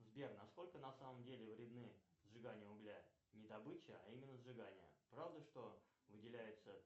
сбер насколько на самом деле вредны сжигание угля не добыча а именно сжигание правда что выделяется